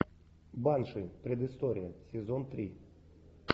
банши предыстория сезон три